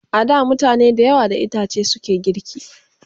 A da mutane da yawa da itace suke girki